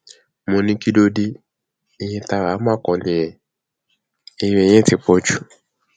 mo ní kí ló dé iye tá a rà á má kó nìyẹn eré yẹn ti pọ jù